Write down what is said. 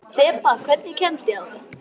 Þeba, hvernig kemst ég þangað?